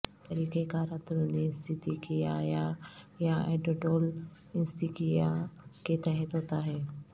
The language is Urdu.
یہ طریقہ کار اندرونی اینستیکیایا یا ایڈیڈول اینستیکیا کے تحت ہوتا ہے